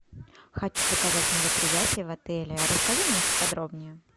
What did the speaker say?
хочу заказать мероприятие в отеле расскажи мне по подробнее